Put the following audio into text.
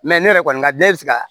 ne yɛrɛ kɔni ka dɛn bɛ se ka